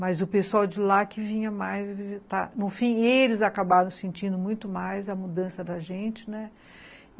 Mas o pessoal de lá que vinha mais visitar... No fim, eles acabaram sentindo muito mais a mudança da gente, né?